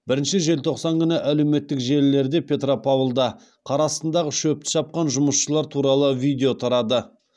бірінші желтоқсан күні әлеуметтік желілерде петропавлда қар астындағы шөпті шапқан жұмысшылар туралы видео тарады